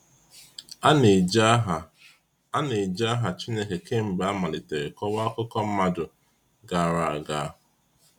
A na-eji aha A na-eji aha Chineke kamgbe a malitere kọwaa akụkọ mmadụ gara aga.